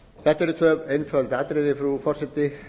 þetta eru tvö einföld atriði frú forseti